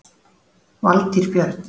Valtýr Björn.